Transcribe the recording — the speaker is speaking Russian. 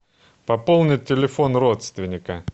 пополнить телефон родственника